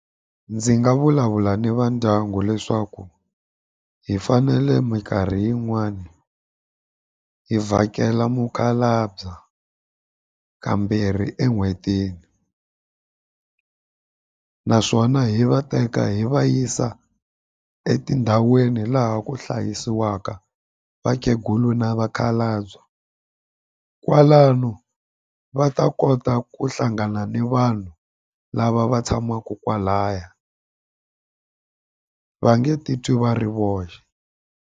Ndzi nga vulavula ni va ndyangu leswaku hi fanele minkarhi yin'wani hi vhakela mukhalabye ka kambirhi en'hwetini naswona hi va teka hi va yisa etindhawini laha ku hlayisiwaka vakhegula na vakhalabye kwalano va ta kota ku hlangana ni vanhu lava va tshamaka kwalaya va nge titwi va ri voxe.